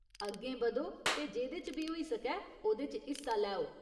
अग्गें बधो ते जेह्दे च बी होई सकै ओह्‌दे च हिस्सा लैओ।